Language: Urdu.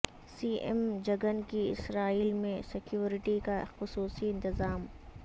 سی ایم جگن کی اسرائیل میں سیکوریٹی کا خصوصی انتظام